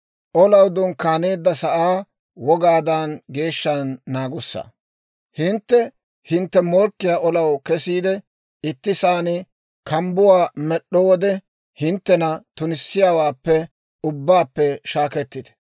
«Hintte hintte morkkiyaa olanaw kesiide ittisaan kambbuwaa med'd'o wode, hinttena tunissiyaawaappe ubbaappe shaakettite.